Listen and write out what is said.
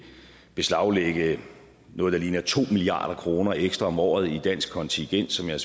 beslaglægge noget der ligner to milliard kroner ekstra om året i dansk kontingent som jeg